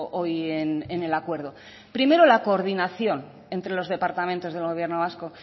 hoy en el acuerdo primero la coordinación entre los departamentos del gobierno vasco